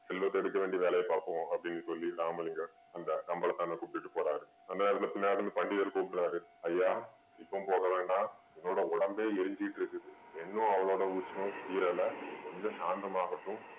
செல்வத்தை எடுக்க வேண்டிய வேலையை பாப்போம் அப்படின்னு சொல்லி ராமலிங்கம் அந்த கம்பளத்தான கூட்டிட்டு போறாரு அந்த நேரத்துல பின்னாடி இருந்து பண்டிதரு கூப்பிடுறாரு ஐயா இப்போம் போக வேண்டாம் என்னோட உடம்பே எரிஞ்சிட்டு இருக்குது இன்னும் அவளோட உஷ்ணம் தீரல கொஞ்சம் சாந்தம் ஆகட்டும்